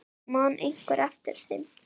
Man einhver eftir þeim?